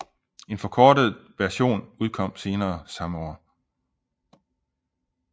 En forkortet version udkom senere samme år